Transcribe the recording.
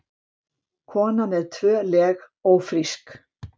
Kona með tvö leg ófrísk